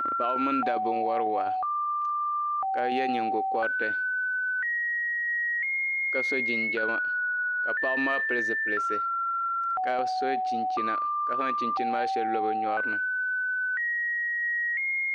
Paɣiba mini dabba n-wari waa ka ye nyiŋgokɔriti ka so jinjama ma paɣiba maa pili zipiliti ka so chinchina ka zaŋ chinchini maa shɛli lo bɛ nyɔri ni.